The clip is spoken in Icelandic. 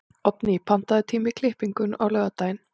Oddný, pantaðu tíma í klippingu á laugardaginn.